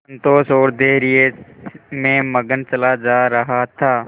संतोष और धैर्य में मगन चला जा रहा था